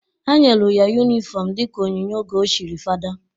Ha nyelu ya yunifọmụ dịka onyinye oge o chiri fada.